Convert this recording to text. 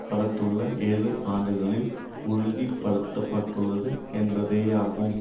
கடத்துள்ள ஏழு ஆண்டுகளில் உறுதிபடுத்தப்பட்டுள்ளது என்பதேயாகும்